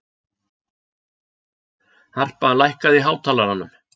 Harpa, lækkaðu í hátalaranum.